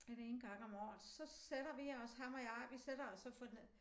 Den ene gang om året så sætter vi os ham og jeg vi sætter os så for ned